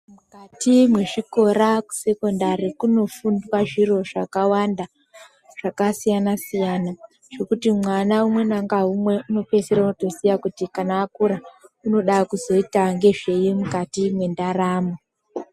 Mukati mwezvikora kusekondari kunofunda zviro zvakawanda zvakasiyana siyana zvekuti mwana umwe ngaumwe inopeisora otoziya kuti kana akura unoda kuzoita ngezvei mukati mwendaramo.